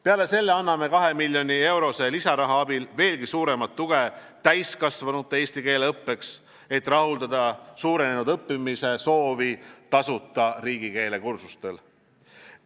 Peale selle anname kahe miljoni euro lisaraha abil veelgi suuremat tuge täiskasvanute eesti keele õppeks, et rahuldada suurenenud õppimisesoovi tasuta riigikeelekursustel.